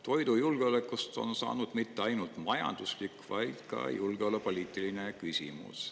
Toidujulgeolekust on saanud mitte ainult majanduslik, vaid ka julgeolekupoliitiline küsimus.